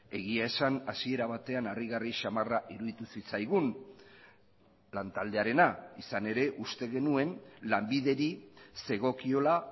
egia esan hasiera batean harrigarri samarra iruditu zitzaigun lan taldearena izan ere uste genuen lanbideri zegokiola